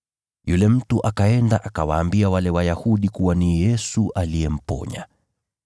Yule mtu akaenda, akawaambia wale Wayahudi kuwa ni Yesu aliyemponya.